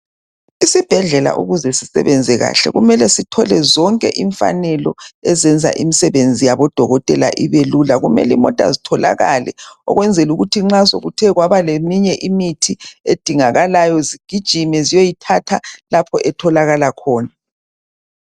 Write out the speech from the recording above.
Isibhedlela ukuze sisebenze kahle kumele sithole zonke imfanelo ezenza imisebenzi yabodokotela ibe lula kumele imota zitholakale ukwenzela ukuthi nxa sekuthe kwaba leminye imithi edingakayo zigijime ziyoyithatha lapho etholakala khona.